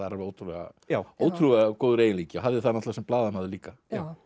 er ótrúlega ótrúlega góður eiginleiki og hafði það sem blaðamaður líka